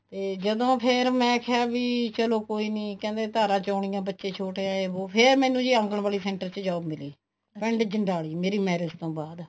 ਤੇ ਜਦੋਂ ਫ਼ੇਰ ਮੈਂ ਕਿਹਾ ਵੀ ਚਲੋ ਕੋਈ ਨੀ ਕਹਿੰਦੇ ਧਾਰਾਂ ਚੋਣੀਆ ਬੱਚੇ ਛੋਟੇ ਆ ਜੀ ਫ਼ੇਰ ਮੈਨੂੰ ਆਂਗਣਵਾੜੀ center ਚ job ਮਿਲੀ ਪਿੰਡ ਜੰਡਾਲੀ ਮੇਰੀ marriage ਤੋਂ ਬਾਅਦ